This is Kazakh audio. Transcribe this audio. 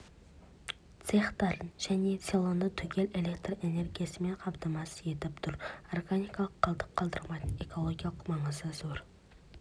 цехтарын және селоны түгел электр энергиясымен қамтамасыз етіп тұр органикалық қалдық қалдырмайтын экологиялық маңызы зор